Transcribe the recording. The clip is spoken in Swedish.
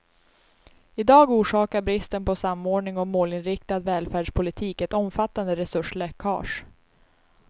I dag orsakar bristen på samordning och målinriktad välfärdspolitik ett omfattande resursläckage.